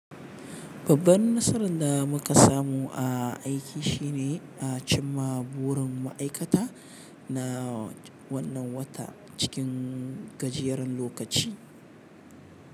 Babbar nasarar da muka samu a aiki shine a cimma burin ma'aikata na wannan wata cikin gajeren lokaci.